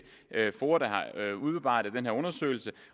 er foa der har udarbejdet den her undersøgelse